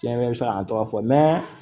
Tiɲɛ yɛrɛ bɛ se ka n tɔgɔ fɔ